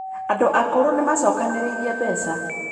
Andũ akũrũ nĩ maacokanĩrĩirie mbeca